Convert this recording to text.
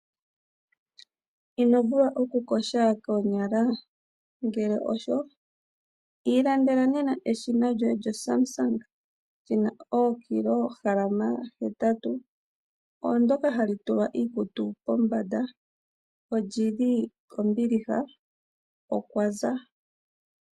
Ino vulwa oku yoga koonyala? Ngele osho, ilandela nena eshina lyoye lyoSamsung, li na ookilograma hetatu, oondoka ha li tulwa iikutu pombanda. Olyi li kombiliha, okwa za.